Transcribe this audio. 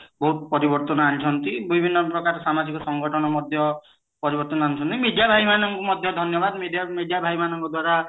ବହୁତ ପରିବର୍ତନ ଆଣିଛନ୍ତି ବିଭିନ୍ନ ପ୍ରକାର ସାମାଜିକ ସଂଗଠନ ମଧ୍ୟ ଆଣିଛନ୍ତି media ଭାଇ ମାନେ ମଧ୍ୟ ଧନ୍ୟବାଦ media ଭାଇମାନ ଙ୍କ ଦ୍ଵାରା